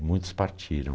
muitos partiram.